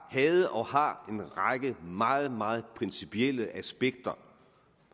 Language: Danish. havde og har en række meget meget principielle aspekter